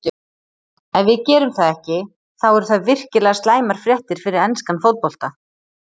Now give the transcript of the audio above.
Ef við gerum það ekki þá eru það virkilega slæmar fréttir fyrir enskan fótbolta